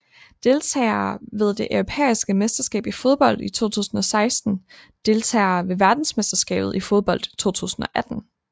Deltagere ved det europæiske mesterskab i fodbold 2016 Deltagere ved verdensmesterskabet i fodbold 2018